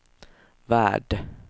värld